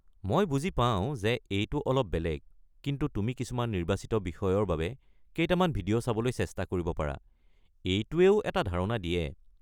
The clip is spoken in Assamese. মই বুজি পাওঁ যে এইটো অলপ বেলেগ, কিন্তু তুমি কিছুমান নিৰ্বাচিত বিষয়ৰ বাবে কেইটামান ভিডিঅ' চাবলৈ চেষ্টা কৰিব পাৰা, এইটোৱেও এটা ধাৰণা দিয়ে।